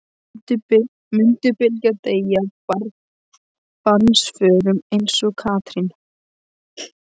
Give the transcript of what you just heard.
Mundi Bylgja deyja af barnsförum eins og Katrín?